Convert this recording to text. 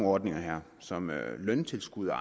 ordninger som løntilskud og